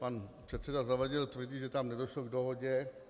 Pan předseda Zavadil tvrdí, že tam nedošlo k dohodě.